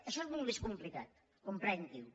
això és molt més complicat comprenguiho